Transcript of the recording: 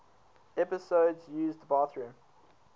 episodes used bathroom